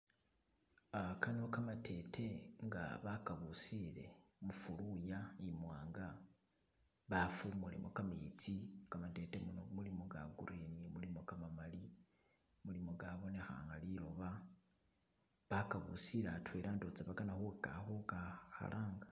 Ah kano kamatete nga bakabusile mufuluya imwanga bafumulemo kametsi kamatete kano mulimo ga green, mulimo kamamali, mulimo gabonekha nga liloba bakabusile atwela ndowoza bakana khu ka khalanga.